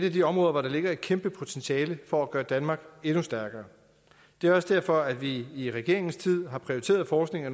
af de områder hvor der ligger et kæmpe potentiale for at gøre danmark endnu stærkere det er også derfor vi i regeringens tid har prioriteret forskning og